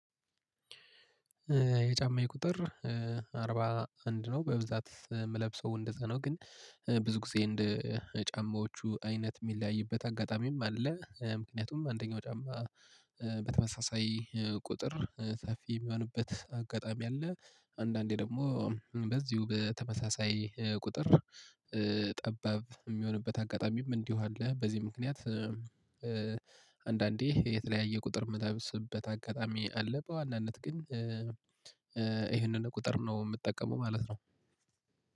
የጫማዬ ቁጥር አርባ አንድ ነው በብዛት የምለብሰው እንደዛ ነው። ግን ብዙ ጊዜ እንደ ጫማዎቹ አይነት የሚለያይበት አጋጣሚም አለ። ምክንያቱም አንደኛው ጫማ በተመሳሳይ ቁጥር ሰፊ የሚሆንበት አጋጣሚ አለ። አንዳንዴ ደግሞ በዚሁ በተመሳሳይ ቁጥር ጠባብ የሚሆንበት አጋጣሚም እንዲሁ አለ። በዚህ ምክንያት አንዳንዴ የተለያየ ቁጥር የምታብስበት አጋጣሚ አለ። በዋናነት ግን ይሄንን ቁጥር ነው የምጠቀመው ማለት ነው።